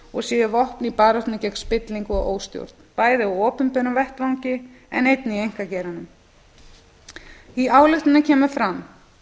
og séu vopn í baráttunni gegn spillingu og óstjórn bæði á opinberum vettvangi en einnig í einkageiranum í ályktuninni kemur fram